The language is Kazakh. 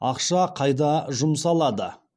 ақша қайда жұмсалады